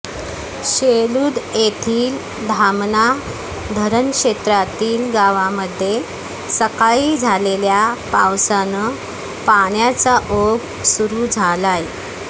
शेलुद येथील धामणा धरण क्षेञातील गावामध्ये सकाळी झालेल्या पावसानं पाण्याचा ओघ सुरु झालाय